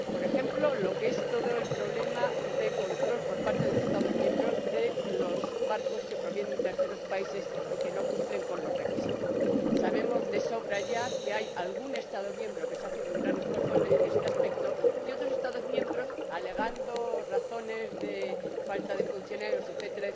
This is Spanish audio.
Por ejemplo, en relación con el problema del control por parte de los Estados miembros de los barcos que provienen de terceros países y no cumplen con los requisitos, ya sabemos de sobra que hay algún Estado miembro que está haciendo un gran esfuerzo en este aspecto y que otros Estados miembros, alegando razones de falta de funcionarios, etc.